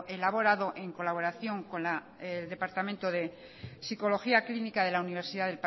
elaborado en colaboración con el departamento de psicología clínica de la universidad